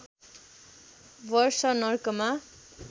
वर्ष नर्कमा